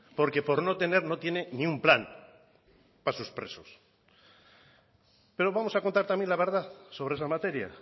porque por no tener no tiene ni un plan para sus presos pero vamos a contar también la verdad sobre esa materia